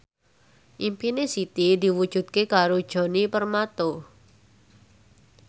impine Siti diwujudke karo Djoni Permato